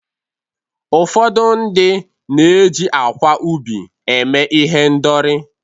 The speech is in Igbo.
ụfọdụ ndị na-eji akwa ubi eme ihendori